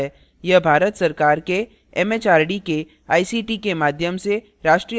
यह भारत सरकार एमएचआरडी के आईसीटी के माध्यम से राष्ट्रीय साक्षरता mission द्वारा समर्थित है